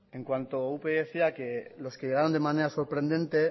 en cuanto a upyd decía que los que llegaron de manera sorprendente